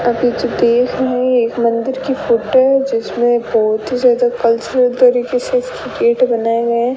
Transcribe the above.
एक मंदिर की फोटो जिसमें बहोत ही ज्यादा कल्चरल तरीके से गेट बनाए गए --